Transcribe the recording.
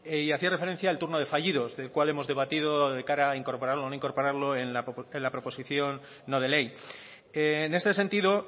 y hacía referencia al turno de fallido de cuál hemos debatido de cara a incorporarlo o no incorporarlo en la proposición no de ley en este sentido